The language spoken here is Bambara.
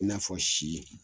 I n'a fɔ sii